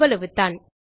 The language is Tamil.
அவ்வளவுதான்